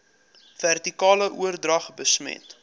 vertikale oordrag besmet